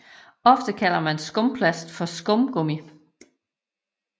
Ofte kalder man skumplast for skumgummi